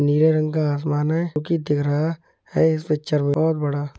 नीले रंग का आसमान है जो कि दिख रहा है इस पिक्चर में और बड़ा --